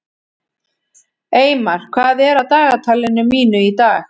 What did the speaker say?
Eymar, hvað er á dagatalinu mínu í dag?